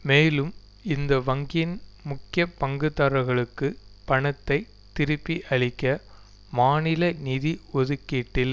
மேலும் இந்த வங்கியின் முக்கிய பங்குதாரர்களுக்கு பணத்தை திருப்பி அளிக்க மாநில நிதி ஒதுக்கீட்டில்